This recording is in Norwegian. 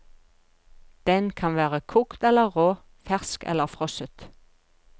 Den kan være kokt eller rå, fersk eller frosset.